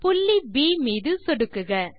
புள்ளி ப் மீது சொடுக்குக